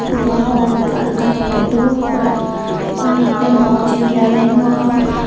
buao parkan ekke dol pura uring degong zebra degong.